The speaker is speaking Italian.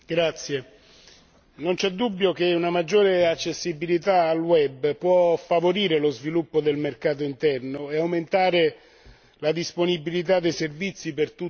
Non c'è dubbio che una maggiore accessibilità al web può favorire lo sviluppo del mercato interno e aumentare la disponibilità dei servizi per tutti i cittadini.